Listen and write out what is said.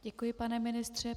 Děkuji, pane ministře.